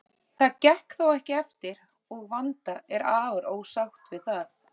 Það gekk þó ekki eftir og Vanda er afar ósátt við það.